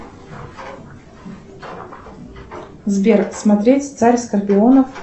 сбер смотреть царь скорпионов